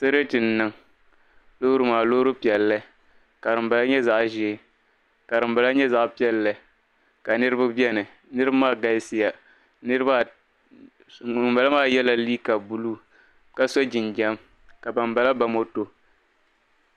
Sarati n-niŋ loori maa loori piɛlli ka dimbala nyɛ zaɣ' ʒee ka dimbala nyɛ zaɣ' piɛlli ka niriba beni niriba maa galisiya ŋumbala maa yɛla liiga buluu ka so jinjam ka bambala ba moto.